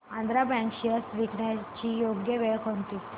Andhra bank shares विकण्याची योग्य वेळ कोणती